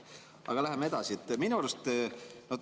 Aga läheme edasi.